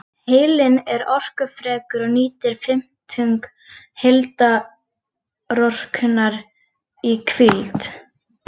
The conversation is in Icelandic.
Heilinn er orkufrekur og nýtir um fimmtung heildarorkunnar í hvíld.